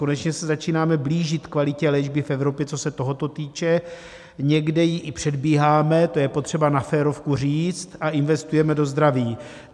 Konečně se začínáme blížit kvalitě léčby v Evropě, co se tohoto týče, někdy ji i předbíháme - to je potřeba na férovku říct - a investujeme do zdraví.